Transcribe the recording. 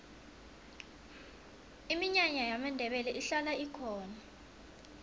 iminyanya yamandebele ihlala ikhona